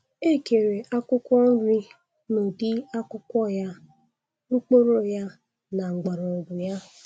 Ekere akwụkwọ nri n' ụdị akwukwọ ya, mkpụrụ ya, na mgborọgwu ya.